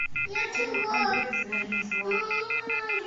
фильм андрея звягинцева